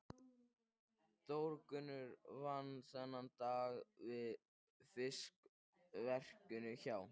Þórgunnur vann þennan dag við fiskverkun hjá